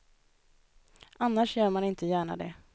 Annars gör man inte gärna det.